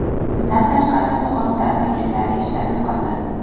Bundan tashqari, sug‘urta paketlari ishlab chiqildi.